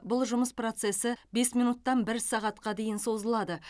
бұл жұмыс процесі бес минуттан бір сағатқа дейін созылады